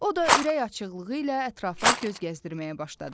O da ürəkaçıqlığı ilə ətrafa göz gəzdirməyə başladı.